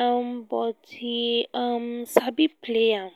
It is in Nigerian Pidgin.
um but he um sabi play am